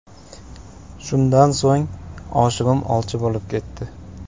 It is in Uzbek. Shundan so‘ng, oshig‘im olchi bo‘lib ketdi.